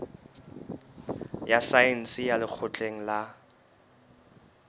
ya saense ya lekgotleng la